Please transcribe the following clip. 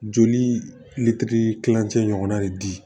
Joli litiri kilancɛ ɲɔgɔnna de di